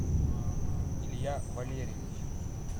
илья валерьевич